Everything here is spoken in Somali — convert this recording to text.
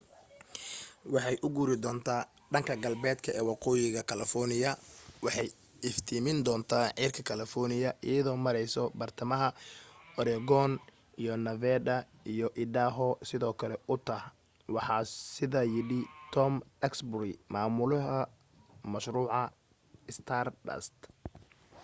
waxay u guuri doonta dhanka galbeedka ee waqooyiga california iyo waxay iftiimin doonta cirka california iyado mareysa bartamaha oregon iyo nevada iyo idaho sidoo kale utah waxaa sidaa yidhi tom duxbury mamulaha mashruuca stardust